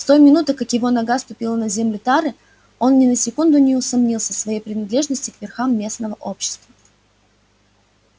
с той минуты как его нога ступила на землю тары он ни на секунду не усомнился в своей принадлежности к верхам местного общества